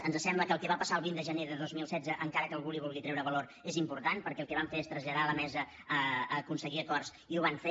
ens sembla que el que va passar el vint de gener de dos mil setze encara que algú hi vulgui treure valor és important perquè el que van fer és traslladar a la mesa aconseguir acords i ho van fer